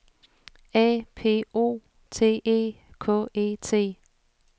A P O T E K E T